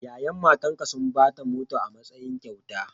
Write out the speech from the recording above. Ya'yan matanka sun ba ta mota a matsayin kyauta.